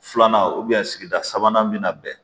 Filanan sigida sabanan min na bɛn